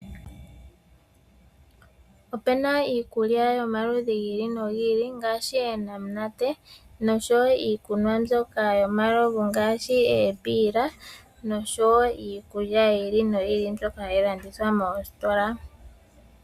Opena iikulya yomaludhi gi ili nogi ili ngaashi eenanate nosho woo iikunwa mbyoka yomalovu ngaashi eembila noshoo woo iikulya yi ili noyi ili hayi landithwa moositola.